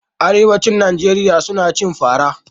Arewacin Najeriya suna cin fara.